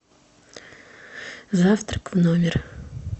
завтрак в номер